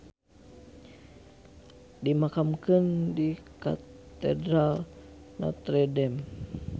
Dimakamkeun di Katedral Notre Dame.